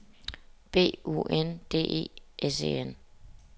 B U N D E S E N